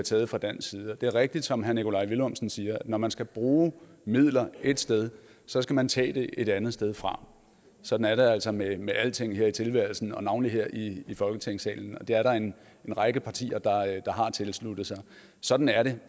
taget fra dansk side det er rigtigt som herre nikolaj villumsen siger at når man skal bruge midler et sted så skal man tage dem et andet sted fra sådan er det altså med alting her i tilværelsen og navnlig her i folketingssalen og der er der en række partier der har tilsluttet sig sådan er det